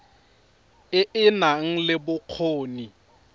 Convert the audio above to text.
e e nang le bokgoni